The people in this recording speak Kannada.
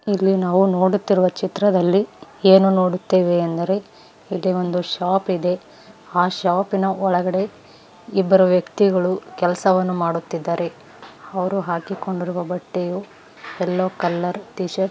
ಇಲ್ಲಿ ನಾವು ನೋಡುತ್ತಿರುವ ಚಿತ್ರದಲ್ಲಿ ಏನು ನೋಡುತ್ತೆವೆಂದರೆ ಇಲ್ಲಿ ಒಂದು ಶಾಪ್ ಇದೆ ಆ ಶಾಪಿನ ಒಳಗಡೆ ಇಬ್ಬರು ವ್ಯಕ್ತಿಗಳು ಕೆಲಸವನ್ನು ಮಾಡುತ್ತಿದ್ದಾರೆ ಅವ್ರು ಹಾಕಿಕೊಂಡಿರುವ ಬಟ್ಟೆಯು ಯಲ್ಲೋ ಕಲರ್ ಟೀಶರ್ಟ್ --